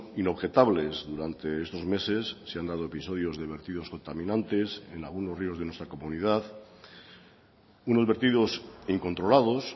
inobjetables durante estos meses se han dado episodios de vertidos contaminantes en algunos ríos de nuestra comunidad unos vertidos incontrolados